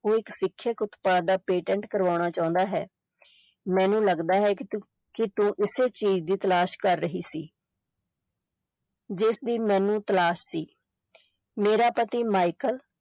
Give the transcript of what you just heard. ਉਹ ਇਕ ਸਿੱਖਿਅਕ ਉਤਪਾਦ ਦਾ patent ਕਰਵਾਉਣਾ ਚਾਹੁੰਦਾ ਹੈ ਮੈਨੂੰ ਲਗਦਾ ਹੈ ਕਿ ਤੂੰ ਕਿ ਤੂੰ ਇਸੇ ਚੀਜ਼ ਦੀ ਤਲਾਸ਼ ਕਰ ਰਹੀ ਸੀ ਜਿਸਦੀ ਮੈਨੂੰ ਤਲਾਸ਼ ਸੀ ਮੇਰਾ ਪਤੀ ਮਾਇਕਲ